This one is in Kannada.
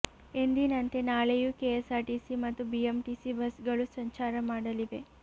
ಎಂದಿನಂತೆ ನಾಳೆಯೂ ಕೆಎಸ್ಆರ್ ಟಿಸಿ ಮತ್ತು ಬಿಎಂಟಿಸಿ ಬಸ್ಗಳು ಸಂಚಾರ ಮಾಡಲಿವೆ